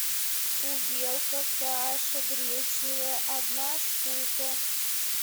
увелка каша гречневая одна штука